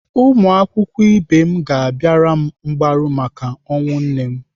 Ụmụakwụkwọ ibe m ga-abịara m mgbaru maka ọnwụ nne m.